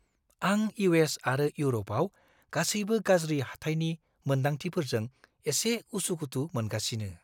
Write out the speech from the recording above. आं U. S. आरो इउरपआव गासैबो गाज्रि हाथाइनि मोनदांथिफोरजों एसे उसुखुथु मोनगासिनो।